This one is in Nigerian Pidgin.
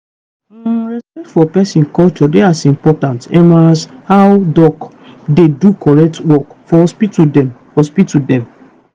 hmmm respect for peson culture dey as important emas how doc dey do correct work for hospital dem. hospital dem.